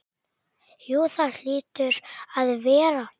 Jú það hlýtur að vera.